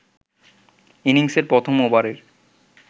ইনিংসের প্রথম ওভারের